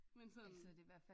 Men sådan